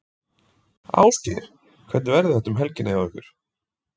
Ásgeir, hvernig verður þetta um helgina hjá ykkur?